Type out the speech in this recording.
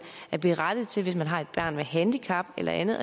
er berettiget til hvis man har et barn med handicap eller andet